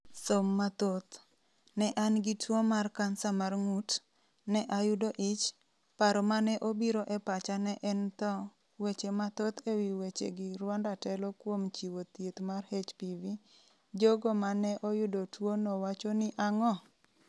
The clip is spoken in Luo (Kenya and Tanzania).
Som mathoth: ‘Ne an gi tuwo mar kansa mar ng’ut, ne ayudo ich’ ‘Paro ma ne obiro e pacha ne en tho’ Weche mathoth e wi wechegi Rwanda telo kuom chiwo thieth mar HPV, jogo ma ne oyudo tuwono wacho ni ang’o?